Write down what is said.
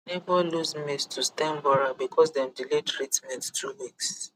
neighbor lose maize to stem borer because dem delay treatment two weeks